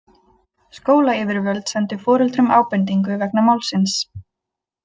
Skólayfirvöld sendu foreldrum ábendingu vegna málsins